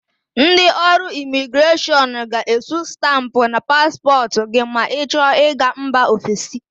Ndị ọrụ Imigreshọn ga-esu stampụ na paspọtụ gị ma ị chọ ịga mba ọfesi.